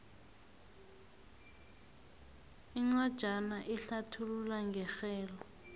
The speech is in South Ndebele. incwajana ehlathulula ngerhelo